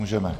Můžeme.